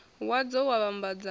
wadzo wa u vhambadza a